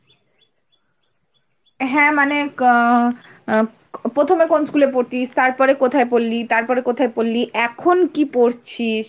হ্যাঁ মানে অ্যা প্রথমে কোন স্কুলে পড়তিস, তারপরে কোথায় পড়লি, তারপরে কোথায় পড়লি, এখন কি পড়ছিস।